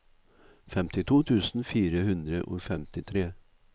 femtito tusen fire hundre og femtitre